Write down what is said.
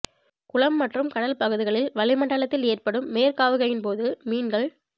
குளம் மற்றும் கடல் பகுதிகளில் வளிமண்டலத்தில் ஏற்படும் மேற்காவுகையின் போது மீன்கள்